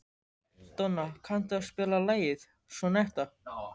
Donna, kanntu að spila lagið „Sonnetta“?